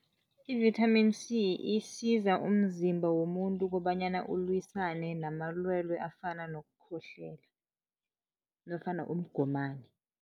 Ivithamini C isiza umzimba womuntu kobanyana ulwisane namalwelwe afana nokukhohlela nofana umgomani.